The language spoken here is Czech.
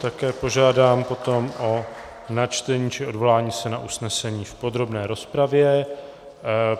Také požádám potom o načtení či odvolání se na usnesení v podrobné rozpravě.